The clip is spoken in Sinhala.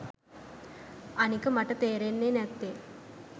අනික මට තේරෙන්නේ නැත්තේ